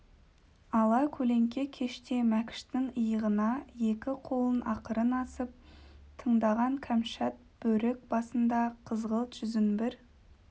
ала көлеңке кеште мәкіштің иығына екі қолын ақырын асып тыңдаған кәмшат бөрік басында қызғылт жүзін бір